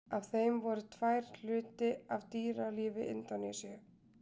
Af þeim voru tvær hluti af dýralífi Indónesíu.